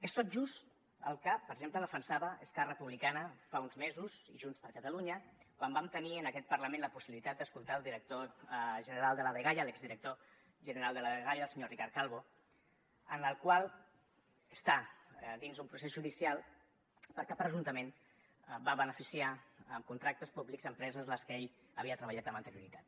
és tot just el que per exemple defensaven esquerra republicana fa uns mesos i junts per catalunya quan vam tenir en aquest parlament la possibilitat d’escoltar el director general de la dgaia l’exdirector general de la dgaia el senyor ricard calvo el qual està dins d’un procés judicial perquè presumptament va beneficiar amb contractes públics empreses amb les que ell havia treballat amb anterioritat